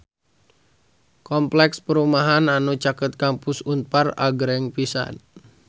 Kompleks perumahan anu caket Kampus Unpar agreng pisan